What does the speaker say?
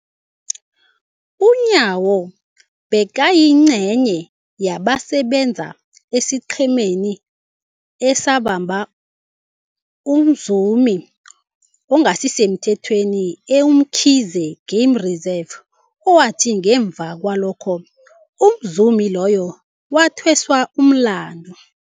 UNyawo bekayingcenye yabasebenza esiqhemeni esabamba umzumi ongasisemthethweni e-Umkhuze Game Reserve, owathi ngemva kwalokho umzumi loyo wathweswa umlandu.